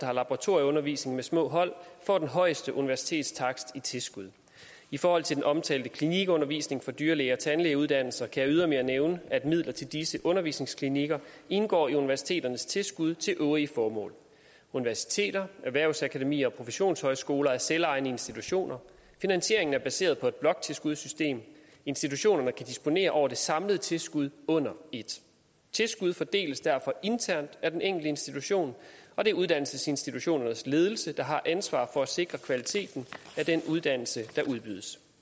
har laboratorieundervisning med små hold får den højeste universitetstakst i tilskud i forhold til den omtalte klinikundervisning på dyrlæge og tandlægeuddannelsen kan jeg ydermere nævne at midler til disse undervisningsklinikker indgår i universiteternes tilskud til øvrige formål universiteter erhvervsakademier og professionshøjskoler er selvejende institutioner finansieringen er baseret på et bloktilskudssystem institutionerne kan disponere over det samlede tilskud under et tilskuddet fordeles derfor internt af den enkelte institution og det er uddannelsesinstitutionernes ledelse der har ansvaret for at sikre kvaliteten af den uddannelse der udbydes